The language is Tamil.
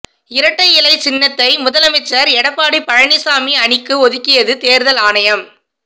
இரட்டை இலை சின்னத்தை முதலமைச்சர் எடப்பாடி பழனிச்சாமி அணிக்கு ஒதுக்கியது தேர்தல் ஆணையம்